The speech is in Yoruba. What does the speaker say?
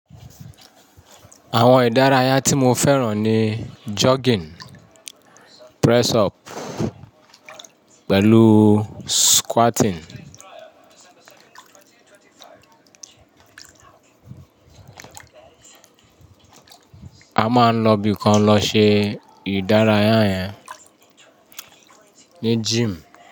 Àwọn ìdárayá tí mo fẹ́ràn ni jogging, press up pẹ̀lú squatting. A máa ń lọ bí kan lọ ṣe ìdárayá yẹn ní gym.